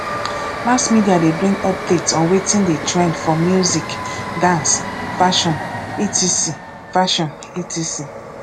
mass media de bring updates on wetin de trend for music dance fashion etc fashion etc